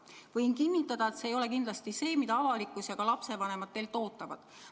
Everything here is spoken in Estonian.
Võin kinnitada, et see ei ole kindlasti see, mida avalikkus ja lapsevanemad teilt ootavad.